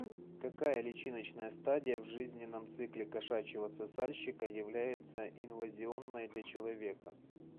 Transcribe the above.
какая личиночная стадия в жизненном цикле кошачьего сосальщика является инвазионной для человека